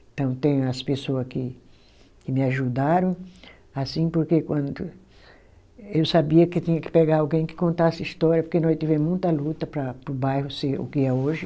Então tem as pessoa que que me ajudaram, assim porque quando eu sabia que tinha que pegar alguém que contasse a história, porque nós tivemos muita luta para o bairro ser o que é hoje.